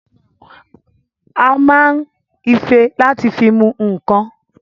A ma ń ife láti fi mu ǹǹkan